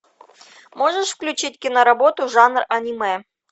можешь включить киноработу жанр аниме